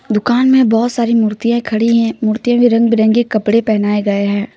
दुकान में बहोत सारी मूर्तिएं खड़ी है मूर्तिएं में रंग बिरंगे कपड़े पहने गए हैं।